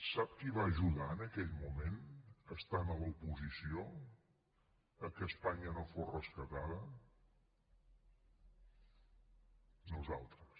sap qui va ajudar en aquell moment estant a l’oposició perquè espanya no fos rescatada nosaltres